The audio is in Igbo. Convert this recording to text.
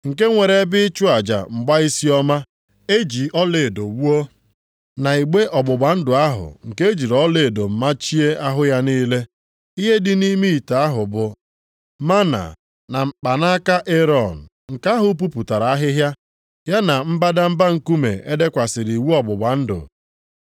nke nwere ebe ịchụ aja mgbaisiọma + 9:4 Maọbụ, ihe ndị bekee na-akpọ insensi e ji ọlaedo wuo, na igbe ọgbụgba ndụ ahụ nke e jiri ọlaedo machie ahụ ya niile. Ihe dị nʼime ite ahụ bụ mánà na mkpanaka Erọn nke ahụ puputara ahịhịa, ya na mbadamba nkume e dekwasịrị iwu ọgbụgba ndụ.